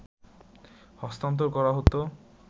হস্তান্তর করা হতো